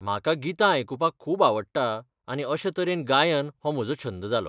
म्हाका गितां आयकुपाक खूब आवडटा आनी अशें तरेन गायन हो म्हजो छंद जालो.